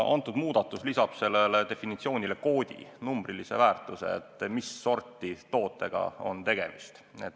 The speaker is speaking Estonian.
Praegune muudatus lisab sellele definitsioonile koodi, numbrilise väärtuse, et mis sorti tootega on tegemist.